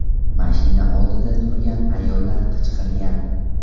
Mashina oldida turgan ayollar qichqirgan.